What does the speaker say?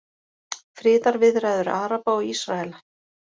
Friðarviðræður Araba og Ísraela